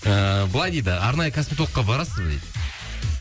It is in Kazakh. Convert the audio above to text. ыыы былай дейді арнайы косметологқа барасыз ба дейді